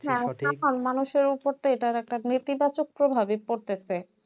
সাধারণ মানুষের উপর তার এটার একটা ভেটিবাচক প্রভাবি পড়তেছে